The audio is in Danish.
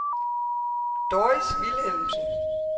Doris Vilhelmsen